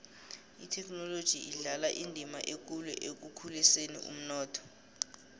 ithekhinoloji idlala indima ekulu ekukhuliseni umnotho